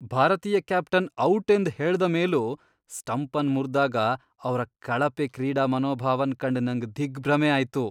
ಭಾರತೀಯ captain out ಎಂದ್ ಹೇಳ್ದ ಮೇಲೂ ಸ್ಟಂಪ್ ಅನ್ ಮುರ್ದಾಗ ಅವ್ರ ಕಳಪೆ ಕ್ರೀಡಾ ಮನೋಭಾವನ್ ಕಂಡ್ ನಂಗ್ ದಿಗ್ಭ್ರಮೆ ಆಯ್ತು.